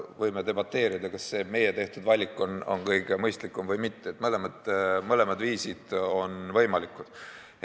Võime debateerida, kas meie valik on kõige mõistlikum või mitte, mõlemad viisid on võimalikud.